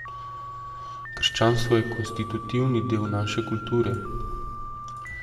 Krščanstvo je konstitutivni del naše kulture.